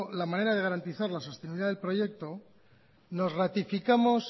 la manera de garantizar la sostenibilidad del proyecto nos ratificamos